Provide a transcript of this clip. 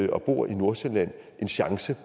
og bor i nordsjælland en chance